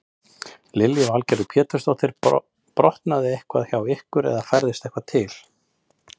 Lillý Valgerður Pétursdóttir: Brotnaði eitthvað hjá ykkur eða færðist eitthvað til?